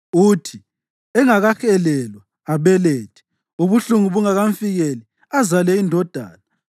“Uthi engakahelelwa, abelethe; ubuhlungu bungakamfikeli, azale indodana.